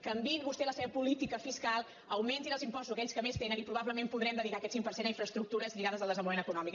canviïn vostès la seva política fiscal augmentin els impostos a aquells que més tenen i probablement podrem dedicar aquest cinc per cent a infraestructures lligades al desenvolupament econòmic